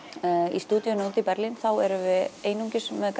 í stúdíóinu úti í Berlín erum við einungis með